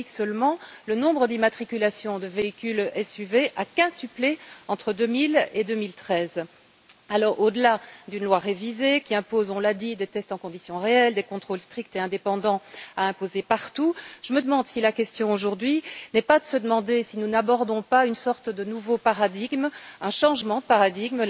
En Belgique seulement, le nombre d'immatriculations de véhicules SUV a quintuplé entre 2000 et 2013 Alors, au delà d'une loi révisée qui impose, on l'a dit, des tests en conditions réelles, des contrôles stricts et indépendants à faire respecter partout, je me demande si la question aujourd'hui n'est pas de savoir si nous n'abordons pas une sorte de nouveau paradigme, un changement de paradigme.